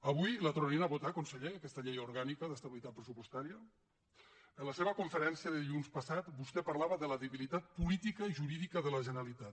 avui la tornarien a votar conseller aquesta llei orgànica d’estabilitat pressupostària en la seva conferència de dilluns passat vostè parlava de la debilitat política i jurídica de la generalitat